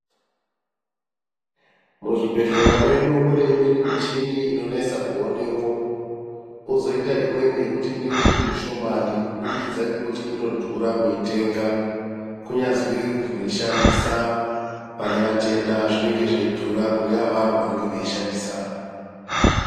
Muzvibhedhlera mwedu mune imweni michini inonesa kuonemwo kozoita imweni inenge iri mishomani kubudikidza ngekuti inodhura kuitenga kunyazwi kuzoishandisa pane vatenda zvinenge zveidhura kune avavo vanenge veishandisa.